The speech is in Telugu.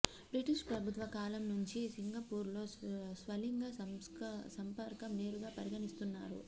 బ్రిటిష్ ప్రభుత్వ కాలం నుంచీ సింగపూర్లో స్వలింగ సంపర్కం నేరంగా పరిగణిస్తున్నారు